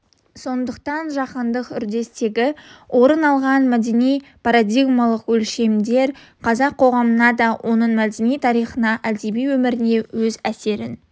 сондықтан жаһандық үрдістегі орын алған мәдени парадигмалық өлшемдер қазақ қоғамына да оның мәдени тарихи әдеби өміріне өз әсерін